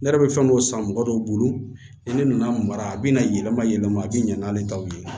Ne yɛrɛ bɛ fɛn dɔw san mɔgɔ dɔw bolo ni ne nana mara a bɛ na yɛlɛma yɛlɛma a bɛ ɲɛ n'ale taw ye